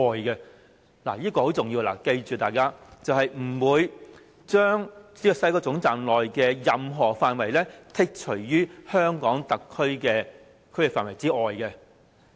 "這是很重要的，大家請記住，是不會將西九龍總站內的任何範圍剔除於香港特區的區域範圍之外。